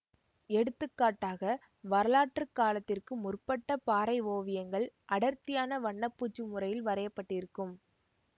எடுத்து காட்டாக வரலாற்று காலத்திற்கு முற்பட்ட பாறை ஓவியங்கள் அடர்த்தியான வண்ண பூச்சு முறையில் வரையப்பட்டிருக்கும்